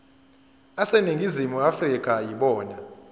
aseningizimu afrika yibona